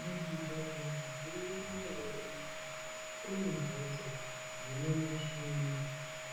Mu zvibhedhlera zviriku mandau unono kune mbatso dzine muchini